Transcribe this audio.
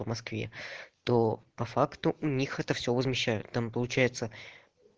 в москве то по факту у них это все возмещают там получается